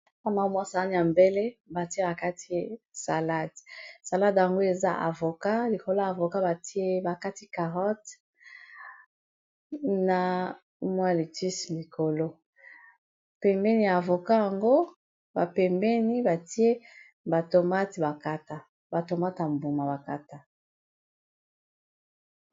Awa namoni balakisi biso eza sani ya mbele batie bakati salade salade yango eza avoka likolo ya avoka batie bakati carrote na 1 likolo pembeni ya avoka yango bapembeni batie bomatkatabatomateya mbuma bakata